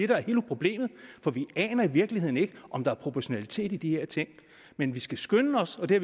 problemet for vi aner i virkeligheden ikke om der er proportionalitet i de her ting men vi skal skynde os og det